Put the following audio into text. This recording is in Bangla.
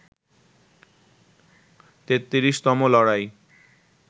৩৩তম লড়াই